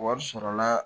Wari sɔrɔla